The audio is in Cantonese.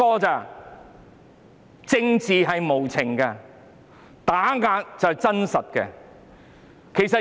政治無情，打壓是真實。